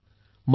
धन्यवाद